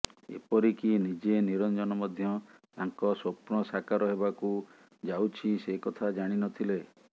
ଏପରିକି ନିଜେ ନିରଞ୍ଜନ ମଧ୍ୟ ତାଙ୍କ ସ୍ୱପ୍ନ ସାକାର ହେବାକୁ ଯାଉଛି ସେ କଥା ଜାଣିନଥିଲେ